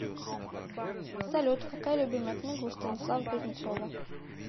салют какая любимая книга у станислава кузнецова